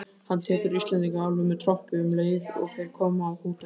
Hann tekur Íslendingana alveg með trompi um leið og þeir koma á hótelið!